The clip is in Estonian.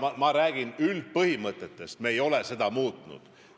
Aga ma räägin üldpõhimõtetest, mida me ei ole muutnud.